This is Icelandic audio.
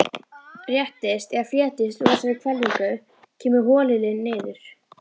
Réttist eða fletjist úr þessari hvelfingu, kemur holilin niður.